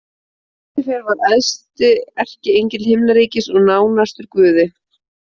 Lúsífer var æðsti erkiengill himnaríkis og nánastur Guði.